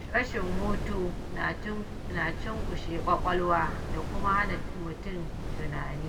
Rashin hutu na cunkushe ƙwaƙwalwa da kuma hana mutum tunani